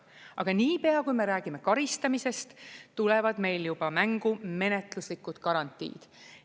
Aga niipea, kui me räägime karistamisest, tulevad meil juba mängu menetluslikud garantiid.